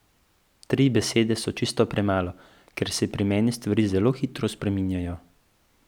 Tri besede so čisto premalo, ker se pri meni stvari zelo hitro spreminjajo.